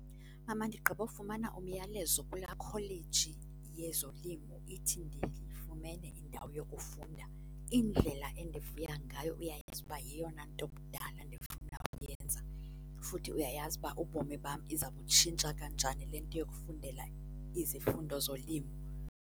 Mama, ndigqiba kufumana umyalezo kula yikholeji yezolimo ithi ndifumene indawo yokufunda. Indlela endivuya ngayo. Uyayazi uba yeyona nto kudala ndifuna ukuyenza futhi uyayazi ukuba ubomi bam iza kubutshintsha kanjani le nto yokufundela izifundo zolimo.